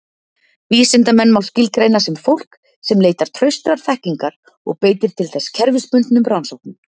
Vísindamenn má skilgreina sem fólk sem leitar traustrar þekkingar og beitir til þess kerfisbundnum rannsóknum.